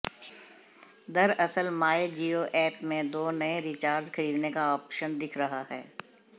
दरअसल my Jio app में दो नए रिचार्ज खरीदने का ऑप्शन दिख रहा है